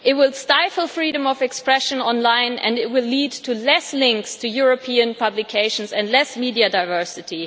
It will stifle freedom of expression online and it will lead to fewer links to European publications and less media diversity.